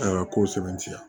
A ka ko sɛbɛntiya